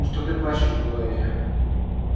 ну что ты плачешь глория